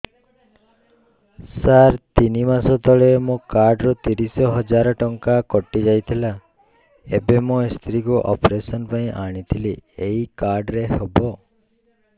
ସାର ତିନି ମାସ ତଳେ ମୋ କାର୍ଡ ରୁ ତିରିଶ ହଜାର ଟଙ୍କା କଟିଯାଇଥିଲା ଏବେ ମୋ ସ୍ତ୍ରୀ କୁ ଅପେରସନ ପାଇଁ ଆଣିଥିଲି ଏଇ କାର୍ଡ ରେ ହବ